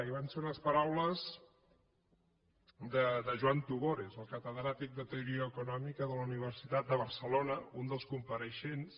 i van ser unes paraules de joan tugores el catedràtic de teoria econòmica de la universitat de barcelona un dels compareixents